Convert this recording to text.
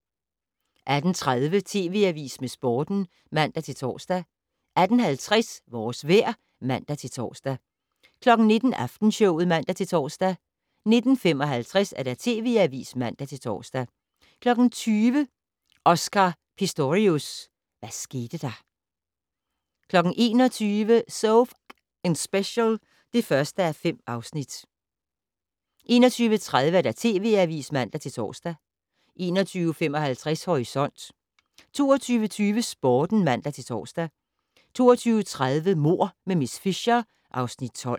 18:30: TV Avisen med Sporten (man-tor) 18:50: Vores vejr (man-tor) 19:00: Aftenshowet (man-tor) 19:55: TV Avisen (man-tor) 20:00: Oscar Pistorius - hvad skete der? 21:00: So F***ing Special (1:5) 21:30: TV Avisen (man-tor) 21:55: Horisont 22:20: Sporten (man-tor) 22:30: Mord med miss Fisher (Afs. 12)